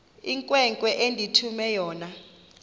inkwenkwe endithume yona